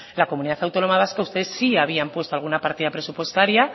la comunidad autónoma vasca ustedes sí habían puesto alguna partida presupuestaria